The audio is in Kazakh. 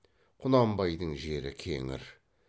құнанбайдың жері кеңір